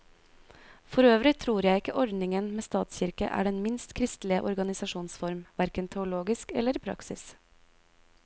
Forøvrig tror jeg ikke ordningen med statskirke er den minst kristelige organisasjonsform, hverken teologisk eller i praksis.